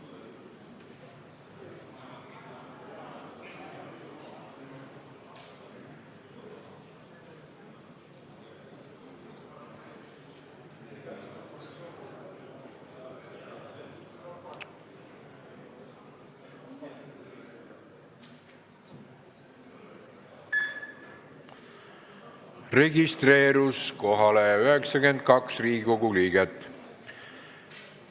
Kohaloleku kontroll Kohalolijaks registreerus 92 Riigikogu liiget.